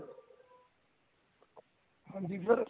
ਹਾਂਜੀ sir